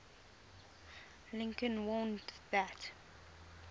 lincoln warned that